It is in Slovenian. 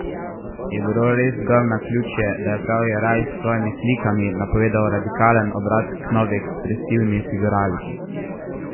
Je bilo res zgolj naključje, da je prav Jeraj s svojimi slikami napovedal radikalen obrat k novi ekspresivni figuraliki?